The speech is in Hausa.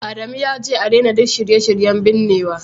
Adamu yace a daina duk shirye-shiryen binnewa